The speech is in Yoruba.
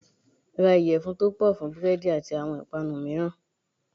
Ra ìyẹ̀fun tó pọ̀ fún búrẹ́dì àti àwọn ìpànu mìíràn.